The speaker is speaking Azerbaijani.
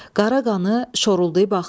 Qara qanı şoruldayıb axdı.